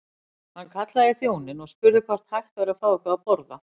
Hann kallaði í þjóninn og spurði hvort hægt væri að fá eitthvað að borða.